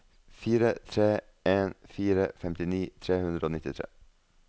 fire tre en fire femtini tre hundre og nittitre